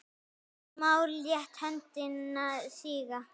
Smári lét höndina síga.